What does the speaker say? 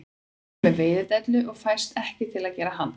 Hann er með veiðidellu og fæst ekki til að gera handtak